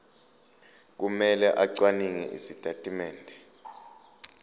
kumele acwaninge izitatimende